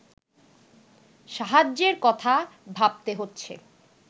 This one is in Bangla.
সাহায্যের কথা ভাবতে হচ্ছে